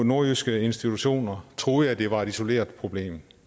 nordjyske institutioner troede jeg det var et isoleret problem